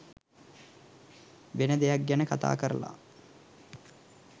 වෙන දෙයක් ගැන කතා කරලා